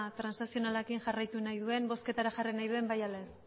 transazionalarekin jarraitu nahi duen bozketara jarri nahi duen bai ala ez